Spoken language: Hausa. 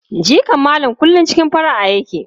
Jikan Malam kullum cikin fara'a yake.